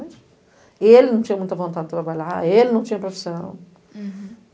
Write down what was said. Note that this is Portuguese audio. Ele não tinha muita vontade de trabalhar, ele não tinha profissão. Uhum